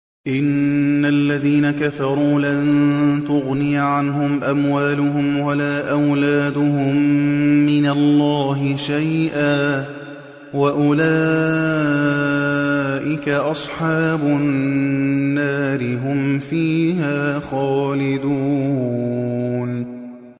إِنَّ الَّذِينَ كَفَرُوا لَن تُغْنِيَ عَنْهُمْ أَمْوَالُهُمْ وَلَا أَوْلَادُهُم مِّنَ اللَّهِ شَيْئًا ۖ وَأُولَٰئِكَ أَصْحَابُ النَّارِ ۚ هُمْ فِيهَا خَالِدُونَ